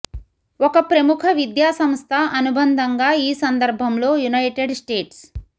ఒక ప్రముఖ విద్యా సంస్థ అనుబంధంగా ఈ సందర్భంలో యునైటెడ్ స్టేట్స్